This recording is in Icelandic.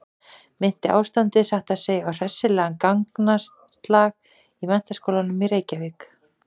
Minnti ástandið satt að segja á hressilegan gangaslag í Menntaskólanum í Reykjavík.